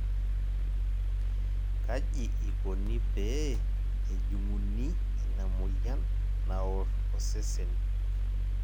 kaji ikoni pee ejung'uni ina moyian naor osesen?